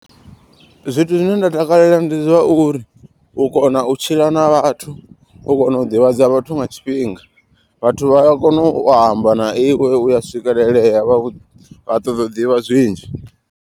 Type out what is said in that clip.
Zwithu zwine nda takalela ndi zwauri u kona u tshila na vhathu u kona u ḓivhadza vhathu nga tshifhinga. Vhathu vhaya kona u amba na iwe uya swikelelea vha ṱoḓa u ḓivha zwinzhi.